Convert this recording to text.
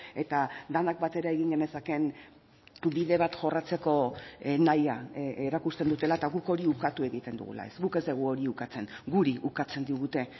eta denak batera egin genezakeen bide bat jorratzeko nahia erakusten dutela eta guk hori ukatu egiten dugula ez guk ez dugu hori ukatzen guri ukatzen digute